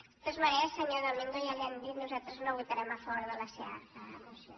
de totes maneres senyor domingo ja li ho hem dit nosaltres no votarem a favor de la seva moció